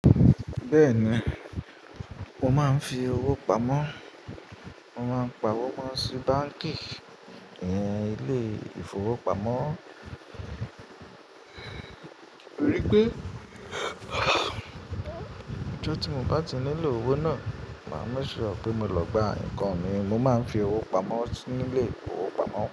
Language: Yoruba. Bẹ́ẹ̀ni, mo máa ń fi owó pamọ́. Mo máa ń pa owó mo sí báǹkì ìyẹn ilé ìfowópamọ́, torí pé tí mo bá ti nílò owó náà, máa make ṣure pé mo lọ gba nǹkan mi, mo máa ń fi owó pamọ́ ní ilé ìfowópamọ́